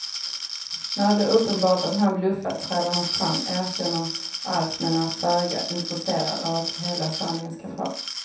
När det blir uppenbart att han bluffat träder han fram, erkänner allt men är föga intresserad av att hela sanningen ska fram.